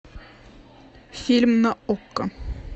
фильм на окко